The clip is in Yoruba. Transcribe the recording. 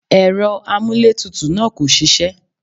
Ẹ̀rọ amúlétutù náà kò ṣiṣẹ́.